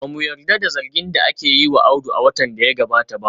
Ba mu yarda da zargin da aka yi wa Audu a watan da ya gabata ba